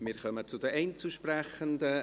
Wir kommen zu den Einzelsprechenden.